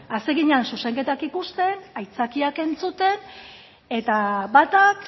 hasi ginen zuzenketak ikusten aitzakiak entzuten eta batak